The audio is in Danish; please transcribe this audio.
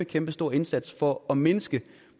kæmpestor indsats for at mindske